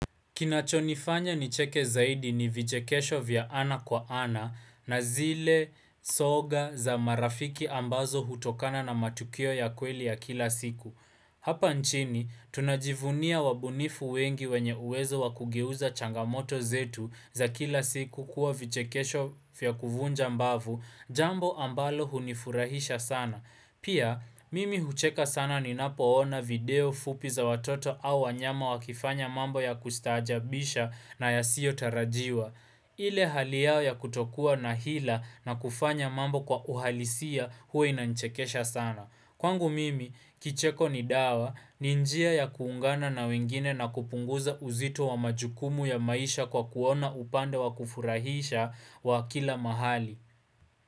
Kinachonifanya nicheke zaidi ni vichekesho vya ana kwa ana na zile soga za marafiki ambazo hutokana na matukio ya kweli ya kila siku. Hapa nchini, tunajivunia wabunifu wengi wenye uwezo wakugeuza changamoto zetu za kila siku kuwa vichekesho vya kuvunja mbavu, jambo ambalo hunifurahisha sana. Pia, mimi hucheka sana ni napoona video fupi za watoto au wanyama wakifanya mambo ya kustajabisha na ya siyo tarajiwa. Ile hali yao ya kutokua na hila na kufanya mambo kwa uhalisia huwa inanchekesha sana. Kwangu mimi, kicheko ni dawa, ni njia ya kuungana na wengine na kupunguza uzito wa majukumu ya maisha kwa kuona upande wa kufurahisha wa kila mahali.